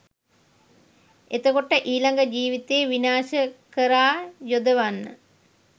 එතකොට ඊළඟ ජීවිතයේ විනාශය කරා යොදවන්න